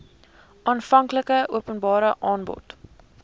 aanvanklike openbare aanbod